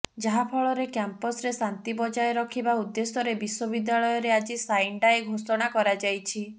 ଯାହା ଫଳରେ କାମ୍ପାସରେ ଶାନ୍ତି ବଜାୟ ରଖିବା ଉଦ୍ଦେଶ୍ୟରେ ବିଶ୍ୱବିଦ୍ୟାଳୟରେ ଆଜି ସାଇନ୍ ଡାଏ ଘୋଷଣା କରାଯାଇଛି